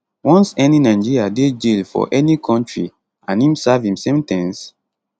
once any nigeria dey jail for any kontri and im serve im sen ten ce